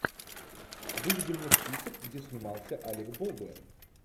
выведи мне список где снимался алек болдуин